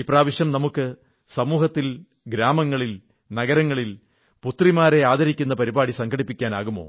ഇപ്രാവശ്യം നമുക്ക് സമൂഹത്തിൽ ഗ്രാമങ്ങളിൽ നഗരങ്ങളിൽ പുത്രിമാരെ ആദരിക്കുന്ന പരിപാടി സംഘടിപ്പിക്കാനാവുമോ